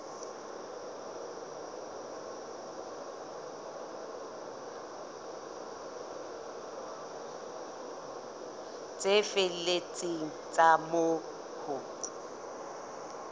tse felletseng tsa moo ho